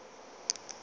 le a mangwe ao a